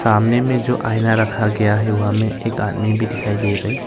सामने में जो आईना रखा गया है वह में एक आदमी भी दिखाई दे रा है।